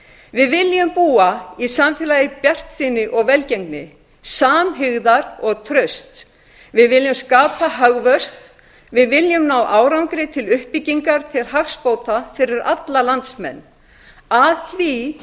við viljum búa í samfélagi bjartsýni og velgengni samhygðar og trausts við viljum skapa hagvöxt við viljum ná árangri til uppbyggingar til hagsbóta fyrir alla landsmenn að því